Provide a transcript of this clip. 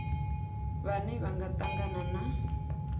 vhane vha nga tangana na